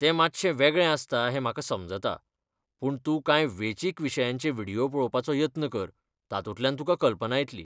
तें मातशें वेगळें आसता हें म्हाका समजता, पूण तूं कांय वेंचीक विशयांचे व्हिडियो पळोवपाचो यत्न कर, तातूंतल्यान तुका कल्पना येतली.